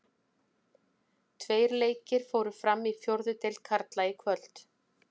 Tveir leikir fóru fram í fjórðu deild karla í kvöld.